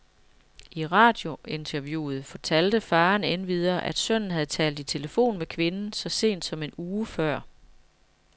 I radiointerviewet fortalte faderen endvidere, at sønnen havde talt i telefon med kvinden så sent som en uge før.